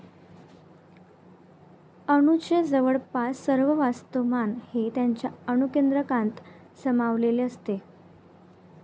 अणूचे जवळपास सर्व वस्तूमान हे त्याच्या अणुकेंद्रकात सामावलेले असते.